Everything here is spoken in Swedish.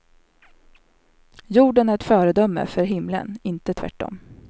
Jorden är ett föredöme för himlen, inte tvärtom.